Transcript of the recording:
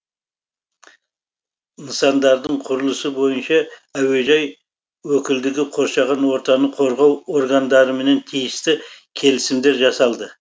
нысандардың құрылысы бойынша әуежай өкілдігі қоршаған ортаны қорғау органдарымен тиісті келісімдер жасалды